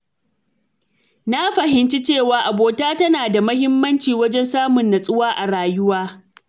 Na fahimci cewa abota tana da muhimmanci wajen samun natsuwa a rayuwa.